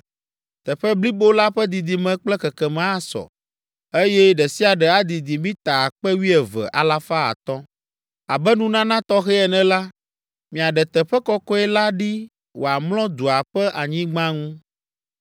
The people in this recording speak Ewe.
Teƒe blibo la ƒe didime kple kekeme asɔ, eye ɖe sia ɖe adidi mita akpe wuieve alafa atɔ̃ (12,500). Abe nunana tɔxɛ ene la, miaɖe teƒe kɔkɔe la ɖi wòamlɔ dua ƒe anyigba ŋu.